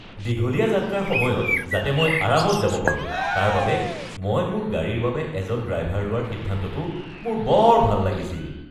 দীঘলীয়া যাত্ৰাৰ সময়ত যাতে মই আৰামত যাব পাৰোঁ তাৰ বাবে মই মোৰ গাড়ীৰ বাবে এজন ড্ৰাইভাৰ লোৱাৰ সিদ্ধান্তটো মোৰ বৰ ভাল লাগিছিল।